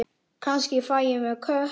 Kannski fæ ég mér kött.